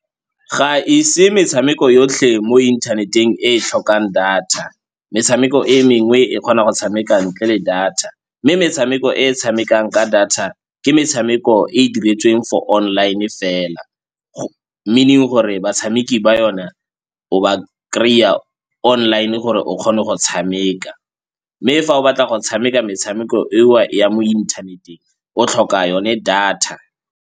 Ga e se metshameko yotlhe mo inthaneteng e tlhokang data, metshameko e mengwe e kgona go tshameka ntle le data. Mme metshameko e tshamekang ka data ke metshameko e e diretsweng for online fela, meaning gore batshameki ba yona o ba kry-a online gore o kgone go tshameka. Mme fa o batla go tshameka metshameko eo ya mo inthaneteng o tlhoka yone data.